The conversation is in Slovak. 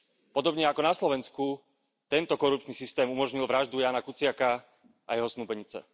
Podobne ako na Slovenku tento korupčný systém umožnil vraždu Jána Kuciaka a jeho snúbenice.